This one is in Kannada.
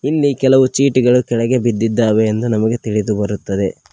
ಇಲ್ಲಿ ಕೆಲವು ಚೀಟಿಗಳು ಕೆಳಗೆ ಬಿದ್ದಿದ್ದಾವೆ ಎಂದು ನಮಗೆ ತಿಳಿದುಬರುತ್ತದೆ.